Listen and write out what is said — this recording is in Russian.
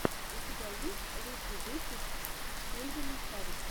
у тебя есть лучший выпуск кельвина харриса